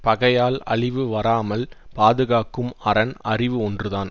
பகையால் அழிவு வாராமல் பாதுகாக்கும் அரண் அறிவு ஒன்று தான்